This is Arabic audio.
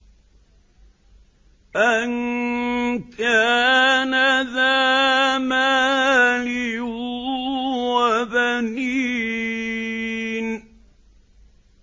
أَن كَانَ ذَا مَالٍ وَبَنِينَ